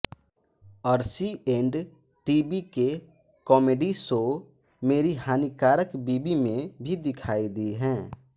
Arshi and TV के comedy show Meri Hanikarak Biwi में भी दिखाई दी हैं